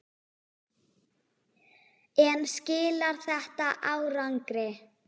En skilar þetta árangri?